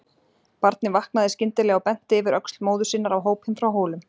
Barnið vaknaði skyndilega og benti yfir öxl móður sinnar á hópinn frá Hólum.